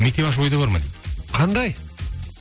мектеп ашу ойда бар ма дейді қандай